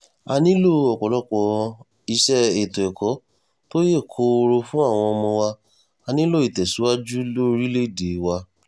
a nílò ọ̀pọ̀lọpọ̀ iṣẹ́ ètò ẹ̀kọ́ tó yè kooro fún àwọn ọmọ wa á nílò ìtẹ̀síwájú lórílẹ̀‐èdè wa